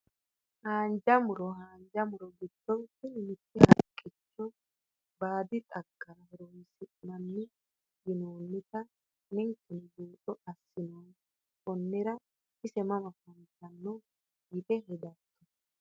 Haanja muro haanja muro giddo tini mitte haqicho baadi xagara horonsisinani yinoonita ninkeno buuxo asinoomo konira ise mama afantano yite hedato?